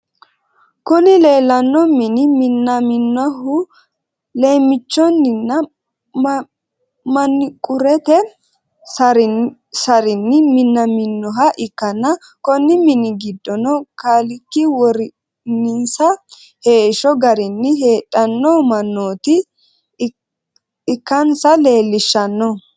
Kuni lelano mini minaminaohu lemichunnina maniqqurete sarinni minaminoha ikana konni mini gidono kaliki worinnisa heshsho garrini hedanno manota ikanissa lelishshnno.